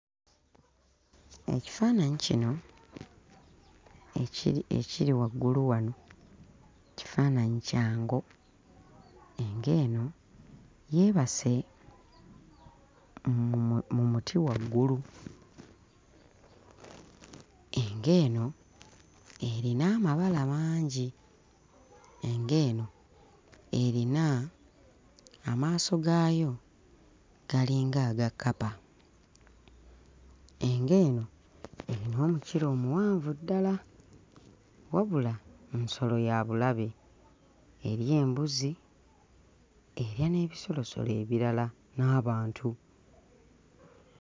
Ekifaananyi kino ekiri ekiri waggulu wano kifaananyi kya ngo. Engo eno yeebase mu mu mu muti waggulu. Engo eno erina amabala mangi, engo eno erina amaaso gaayo galinga aga kkapa, engo eno erina omukira omuwanvu ddala wabula nsolo ya bulabe; erya embuzi erya n'ebisolosolo ebirala n'abantu.